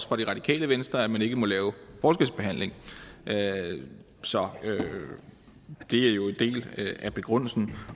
radikale venstre at man ikke må lave forskelsbehandling så det er jo en del af begrundelsen